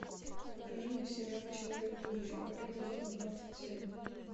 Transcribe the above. покажи мне сериал человек будущего эпизод двадцать семь